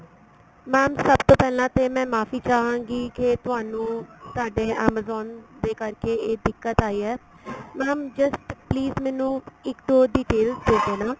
mam ਸਭ ਤੋਂ ਪਹਿਲਾਂ ਤੇ ਮੈਂ ਮਾਫ਼ੀ ਚਾਵਾਗੀ ਕੇ ਤੁਹਾਨੂੰ ਤੁਹਾਡੇ amazon ਤੇ ਕਰਕੇ ਇਹ ਦਿੱਕਤ ਆਈ ਏ mam just please ਮੈਨੂੰ ਇੱਕ ਉਹ details ਦੇ ਦੇਣਾ